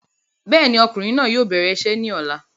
Bẹ́ẹ̀ni, ọkùnrin náà yóò bẹ̀rẹ̀ isẹ́ ní ọ̀la